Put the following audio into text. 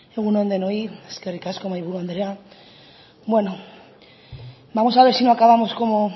egun on denoi eskerrik asko mahaiburu andrea bueno vamos a ver si no acabamos como